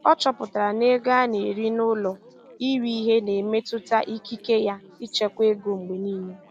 Ọ chọpụtara na ego a na-eri n'ụlọ iri ihe na-emetụta ikike ya ịchekwa ego mgbe niile.